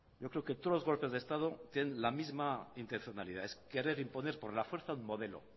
yo creo que todos los golpes de estado tienen la misma intencionalidad es querer imponer por la fuerza un modelo